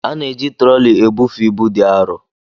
A na-eji trọli ebufe ibu dị arọ.